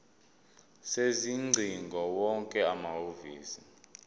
sezingcingo wonke amahhovisi